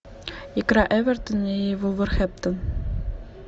игра эвертон и вулверхэмптон